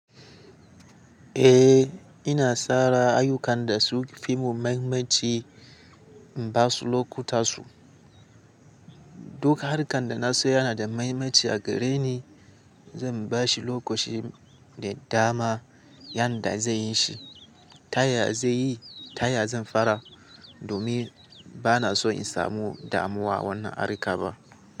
Eh, ina sara ayukan da su fi mu mahimmanci in ba su lokuta su. Duk harkan da na so yana da mahimmanci a gare ni, zan ba shi lokaci da dama yanda zai yi shi. Taya zai yi, taya zan fara? Domin bana so in samu damuwa wannan harka ba.